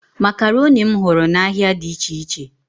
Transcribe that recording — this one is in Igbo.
Makaroni m hụrụ n'ahịa dị iche iche.